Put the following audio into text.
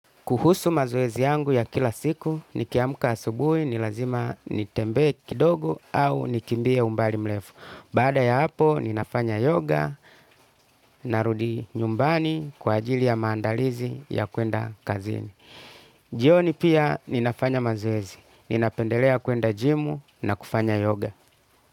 Kuhusu mazoezi yangu ya kila siku, nikiamka asubuhi, nilazima nitembee kidogo au nikimbie umbali mlefu. Baada ya hapo, ninafanya yoga, narudi nyumbani kwa ajili ya maandalizi ya kuenda kazini. Jioni pia, ninafanya mazoezi. Ninapendelea kuenda jimu na kufanya yoga.